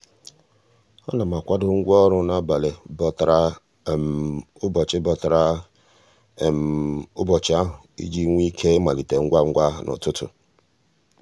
a na m akwado ngwaọrụ n'abalị bọtara ụbọchị bọtara ụbọchị ahụ iji nwee ike ịmalite ngwangwa n'ụtụtụ.